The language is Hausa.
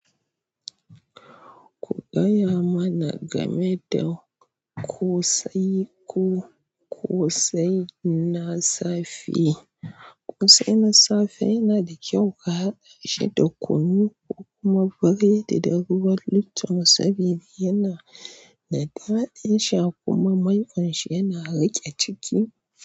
Kugaya ma na game da ƙosai ko ƙosai na safe. Ƙosai na safe yana da kyau ka haɗa shi da kunu ko kuma biredi da ruwan lufton saboda yana da daɗin sha kuma maiƙon shi yana riƙe ciki.